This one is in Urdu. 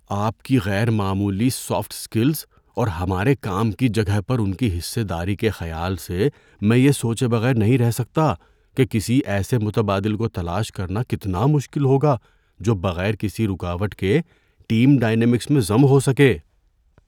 آپ کی غیر معمولی سافٹ اسکلز اور ہمارے کام کی جگہ پر ان کی حصہ داری کے خیال سے میں یہ سوچے بغیر نہیں رہ سکتا کہ کسی ایسے متبادل کو تلاش کرنا کتنا مشکل ہوگا جو بغیر کسی رکاوٹ کے ٹیم ڈائنیمکس میں ضم ہو سکے۔